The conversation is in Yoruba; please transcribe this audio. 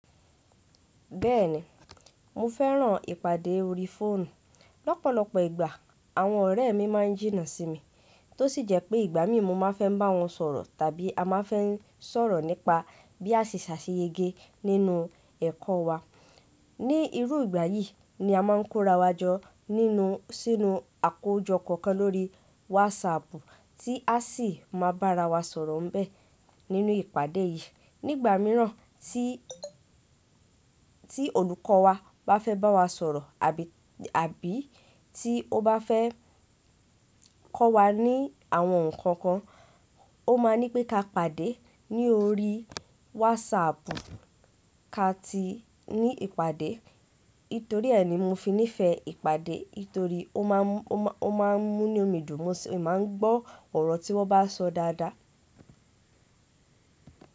Bẹ́ẹ̀ni, mo fẹ́ràn ìpàdé orí fóònù. Lọ́pọ̀lọ́pọ̀ ìgbà àwọn ọ̀rẹ́ mi máa ń jìnnà sí mi, tó sì jẹ́ pé ìgbà mí mo máa fẹ́ bá wọn sọ̀rọ̀ tàbí a máa n fẹ́ sọ̀rọ̀ nípa bí a ṣe ṣàṣeyẹyege nínú ẹ̀kọ́ wa. Ní irú ìgbà yìí ni a máà ń kórawọ́ jọ ninu sínú àkójọ kọ̀ọ̀kan lórí wásaàpù tí a sì máa bá ara wa sọ̀rọ̀ n bẹ́ẹ̀ nínú ìpàdé yìí. Ní ìgbà mìíràn tí olùkọ́ wa bá fẹ́ bá wa sọ̀rọ̀ àbí tí ó bá fẹ́ kọ́ wa ní àwọn nǹkan kan, ó máa ní pé ká pàdé ní orí wásaàpù. Ká ti ní ìpàdé. Nítorí ẹ́ ni mo fi nífẹ̀ẹ́ ìpàdé. Nítorí ó máa ń mú nu mi dùn. Mo sì máa ń gbọ́ ọ̀rọ̀ tí wọ́n bá sọ dáadáa.